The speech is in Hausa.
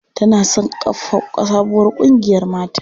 Tana son kafa sabuwar ƙungiyar mata.